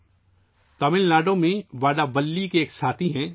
سریش راگھون جی تمل ناڈو کے وڈّاولی کے ایک ساتھی ہیں